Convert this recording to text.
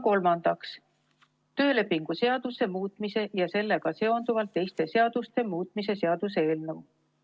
Kolmandaks, töölepingu seaduse muutmise ja sellega seonduvalt teiste seaduste muutmise seaduse eelnõu.